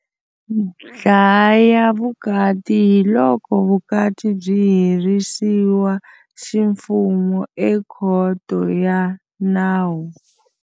Ndlhayavukati hi loko vukati byi herisiwa ximfumo ekhoto ya nawu.